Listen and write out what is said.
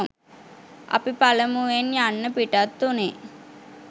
අපි පළමුවෙන් යන්න පිටත් වුනේ